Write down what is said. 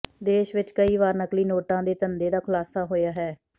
ਦੇਸ਼ ਵਿੱਚ ਕਈ ਵਾਰ ਨਕਲੀ ਨੋਟਾਂ ਦੇ ਧੰਧੇ ਦਾ ਖੁਲਾਸਾ ਹੋਇਆ ਹੈ